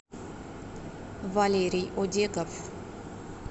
валерий одеков